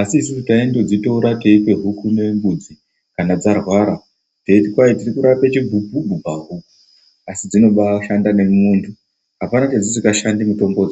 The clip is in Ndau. asi isusu taindodzitora teipe huku nembudzi kana dzarwara teiti kwai tirikurape chibhubhubhu pahuku asidzinobashanda nemumwundu apana pedzisingashandi mitombodzo.